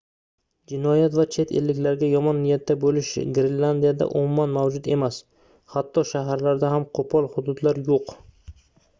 jinoyat va chet elliklarga yomon niyatda boʻlish grenlandiyada umuman mavjud emas hatto shaharlarda ham qoʻpol hududlar yoʻq